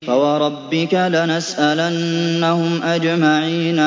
فَوَرَبِّكَ لَنَسْأَلَنَّهُمْ أَجْمَعِينَ